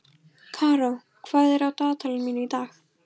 Karó, hvað er á dagatalinu mínu í dag?